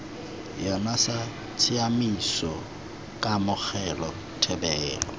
yona sa tshiaimiso kamogelo thebolo